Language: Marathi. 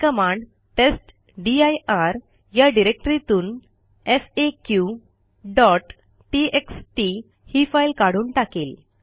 ही कमांड टेस्टदीर या डिरेक्टरीतून faqटीएक्सटी ही फाईल काढून टाकेल